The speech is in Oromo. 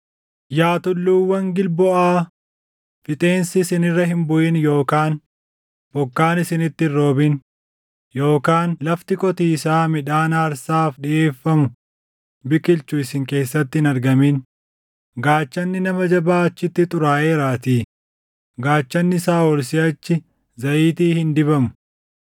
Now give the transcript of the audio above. “Yaa tulluuwwan Gilboʼaa, fixeensi isin irra hin buʼin yookaan bokkaan isinitti hin roobin; yookaan lafti qotiisaa midhaan aarsaaf dhiʼeeffamu biqilchu isin keessatti hin argamin. Gaachanni nama jabaa achitti xuraaʼeeraatii; gaachanni Saaʼol siʼachi zayitii hin dibamu.